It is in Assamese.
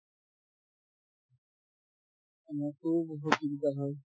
বহুত চিন্তা হয়